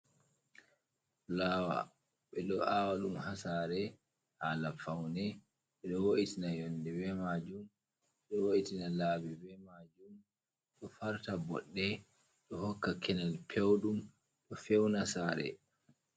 Fulawa, ɓeɗo awa ɗum ha sare hala faune ɓeɗo wo’itina yonde be majum ɓeɗo wo’itina laabi be majum ɗo farta boɗɗe ɗo hokka kenel pewɗum ɗo fewna sare.